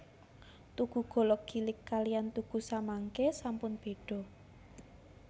Tugu Golong Gilig kaliyan tugu samangke sampun beda